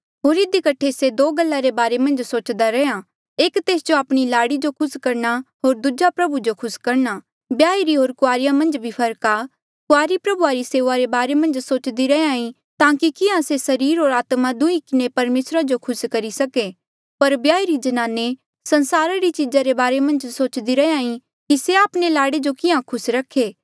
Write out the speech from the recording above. होर इधी कठे से दो गल्ला रे बारे मन्झ सोचदा रैहया एक तेस जो आपणी लाड़ी जो खुस करणा होर दूजा प्रभु जो खुस करणा ब्याहिरी होर कुआरी मन्झ भी फर्क आ कुआरी प्रभु री सेऊआ रे बारे मन्झ सोच्दी रैंहयां ईं ताकि किहां से सरीरा होर आत्मा दुंहीं किन्हें परमेसरा जो खुस करी सके पर ब्याहिरी ज्नाने संसारा री चीजा रे बारे मन्झ सोच्दी रैंहयां ईं कि से आपणे लाड़े जो किहाँ खुस रखे